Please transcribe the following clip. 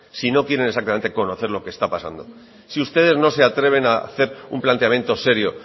si no quieren exactamente conocer lo que está pasando si ustedes no se atreven a hacer un planteamiento serio